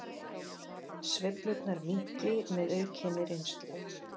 Sveiflurnar minnki með aukinni reynslu